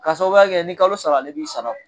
K'a sababuya kɛ ni kalo sara ale b'i sara